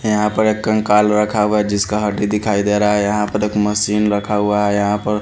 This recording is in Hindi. यहां पर एक कंकाल रखा हुआ है जिसका हड्डी दिखाई दे रहा है यहां पर एक मशीन रखा हुआ है यहां प।